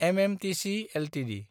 MMTC Ltd